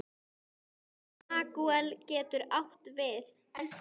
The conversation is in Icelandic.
Ragúel getur átt við